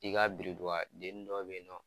I ka biridugudennin dɔw bɛ yennɔ.